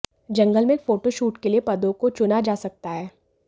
जंगल में एक photo shoot के लिए पदों को चुना जा सकता है